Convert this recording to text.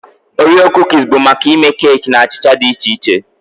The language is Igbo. Oreo Kuukis bụ maka ịme keeki na achịcha dị iche iche